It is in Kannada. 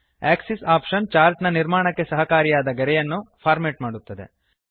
ಆಕ್ಸಿಸ್ ಆಪ್ಷನ್ ಚಾರ್ಟ್ ನ ನಿರ್ಮಾಣಕ್ಕೆ ಸಹಕಾರಿಯಾದ ಗೆರೆಗಳನ್ನು ಫಾರ್ಮೇಟ್ ಮಾಡುತ್ತದೆ